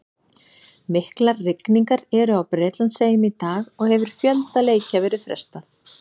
Miklar rigningar eru á Bretlandseyjum í dag og hefur fjölda leikja verið frestað.